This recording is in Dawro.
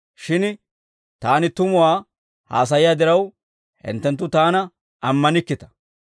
Shin Taani tumuwaa haasayiyaa diraw, hinttenttu Taana ammanikkita.